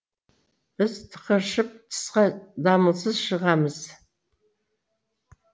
біз тықыршып тысқа дамылсыз шығамыз